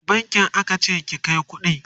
a wani bankin aka ce ki Kai kuɗi?